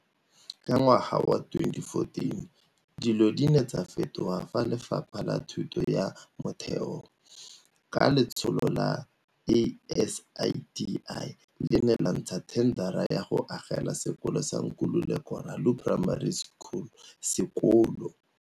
Ka ngwaga wa 2014, dilo di ne tsa fetoga fa Lefapha la Thuto ya Motheo, ka le tsholo la ASIDI, le ne la ntsha thendara ya go agela sekolo sa Nkululeko Ralo Primary School sekolo.